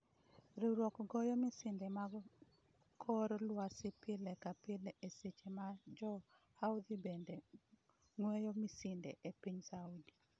Riwruokno goyo misinde mag kor lwasi pile ka pile e seche ma jo Houthi bende gweyo misinde e piny Saudi.